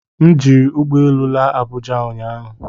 M jiri ụgbọ elu laa Abuja ụnyahụ